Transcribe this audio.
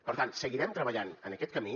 per tant seguirem treballant en aquest camí